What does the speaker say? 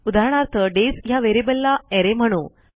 उदाहरणार्थ डेज ह्या व्हेरिएबलला अरे म्हणू